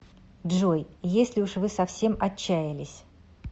джой если уж вы совсем отчаялись